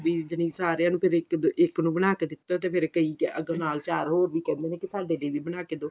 ਵੀ ਜਣੀ ਸਾਰਿਆਂ ਨੂੰ ਫਿਰ ਇੱਕ ਇੱਕ ਨੂੰ ਬਣਾ ਕੇ ਦਿੱਤਾ ਤੇ ਫ਼ੇਰ ਕਈ ਅੱਗੇ ਨਾਲ ਚਾਰ ਹੋਰ ਵੀ ਕਹਿੰਦੇ ਨੇ ਕੀ ਸਾਡੇ ਲਈ ਵੀ ਬਣਾ ਕੇ ਦਓ